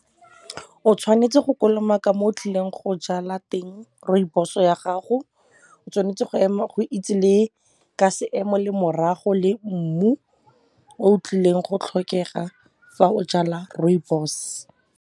O tshwanetse go kolomaka mo o tlileng go jala teng rooibos-o ya gago. O tshwanetse go ema, go itse le ka se emo le morago le mmu, o tlileng go tlhokega fa o jala rooibos.